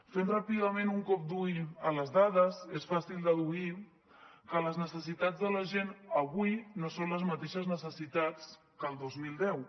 fent ràpidament un cop d’ull a les dades és fàcil deduir que les necessitats de la gent avui no són les mateixes necessitats que el dos mil deu